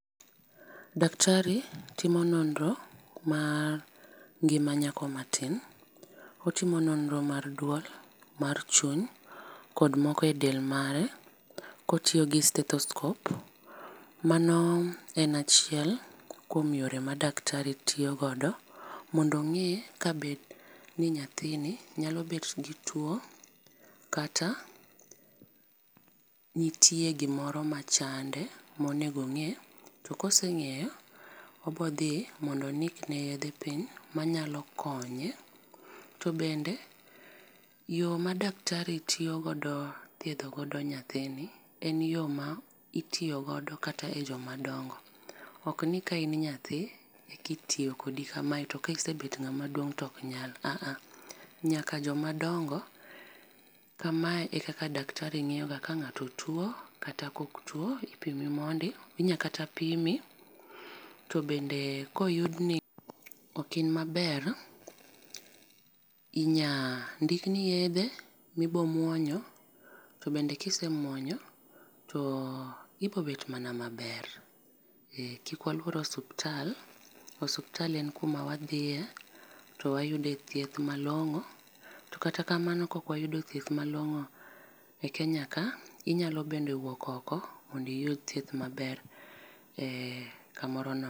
Daktari timo nonro mar ngima nyako ma tin, otimo nonro mar duol, mar chuny ,kod moko e del mare ka otiyo gi stethoscope, mano en achiel kuom yore ma daktari tiyo godo mondo ong'e ka be ni nyathini nyalo bet ma tuo kata nitie gimoro machande ma onego onge, to ka osengeyo obo dhi mondo ondik ne yedhe piny ma nyalo konye. To bende yo ma daktari tiyo godo thiedho go nyathini en yo ma itiyo go kata e jo ma dongo . Ok ni ka in nyanti eka itiyo kod iu ka ma e to kisebedo maduong' to ok nyal aah, nyaka jo ma dongo kama eka daktari ngiyo ga ka ngato tuo kata ok tuo ipimi mondi. Inya kata pimi to ka oyudi ni ok in ma ber inya ndikni yedhe mi ibo muonyo to bende ki semuonyo ibiro bed mana ma ber. Kik waluor osiptal, osiptal en ku ma wadhiye to wayude thieth malongo. To kata kamano kok wayudo thieth malongo e Kenya ka inyalo bende wuok oko mondo iyud thieth ma ber e ka moro nono.